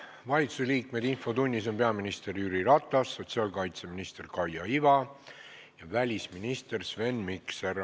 Valitsusliikmetest on infotunnis peaminister Jüri Ratas, sotsiaalkaitseminister Kaia Iva ja välisminister Sven Mikser.